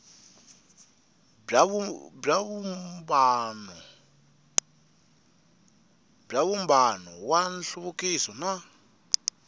bya vumbano wa nhluvukiso na